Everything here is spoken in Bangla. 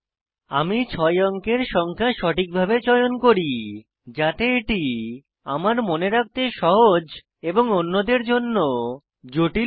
আমি 6 অঙ্কের সংখ্যা সঠিকভাবে চয়ন করি যাতে এটি আমার মনে রাখতে সহজ এবং অন্যদের জন্য জটিল হয়